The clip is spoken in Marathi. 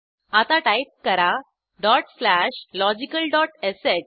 आता टाईप करा डॉट स्लॅश logicalश